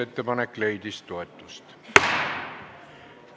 Ettepanek leidis toetust.